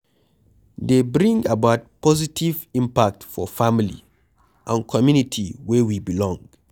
Dey bring about positive impact for family and community wey we belong